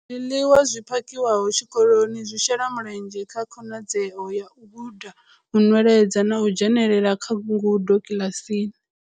Zwiḽiwa zwi phakhiwaho tshikoloni zwi shela mulenzhe kha khonadzeo ya u guda, u nweledza na u dzhenela kha ngudo kiḽasini.